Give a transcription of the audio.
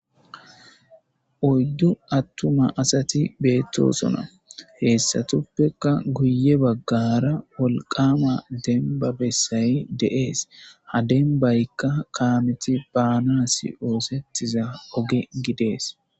oydddu attuma asati beettosona heessatuppekka guye baggara wolqama denba bessay de7ees ha dembaykka kaameti baana si7oosettiza oge gidees